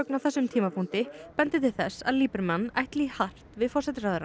á þessum tímapunkti bendi til þess að ætli í hart við forsætisráðherrann